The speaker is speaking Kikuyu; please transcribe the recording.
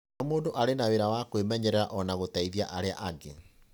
O mũndũ arĩ na wĩra wa kwĩmenyerera na gũteithia arĩa angĩ.